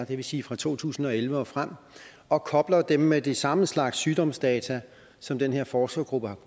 det vil sige fra to tusind og elleve og frem og kobler dem med den samme slags sygdomsdata som den her forskergruppe